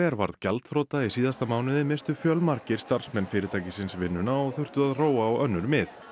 varð gjaldþrota í síðasta mánuði misstu fjölmargir starfsmenn fyrirtækisins vinnuna og þurftu að róa á önnur mið